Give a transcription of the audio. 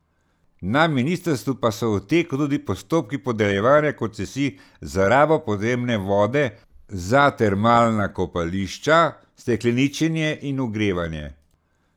Na ministrstvu pa so v teku tudi postopki podeljevanja koncesij za rabo podzemne vode za termalna kopališča, stekleničenje in ogrevanje.